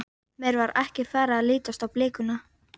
Mér var ekki farið að lítast á blikuna.